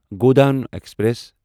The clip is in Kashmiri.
گوڈان ایکسپریس